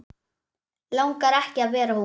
Langar ekki að vera hún.